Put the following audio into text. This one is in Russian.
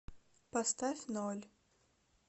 поставь ноль